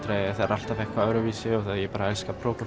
alltaf eitthvað öðruvísi og ég bara elska